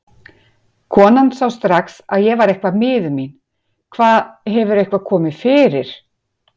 Konan sá strax að ég var eitthvað miður mín. Hvað, hefur eitthvað komið fyrir?